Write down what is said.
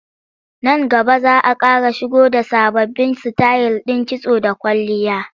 Nan gaba za a ƙara shigo da sababbin sitayil ɗin kitso da kwalliya.